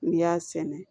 N'i y'a sɛnɛ